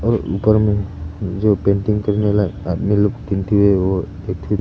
और ऊपर में जो पेंटिंग करने वाला आदमी लोग वो बैठे।